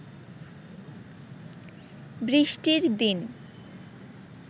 বৃষ্টির দিন